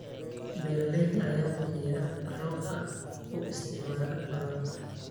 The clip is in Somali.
Beeralayda ayaa biyaha roobka u isticmaala waraabka.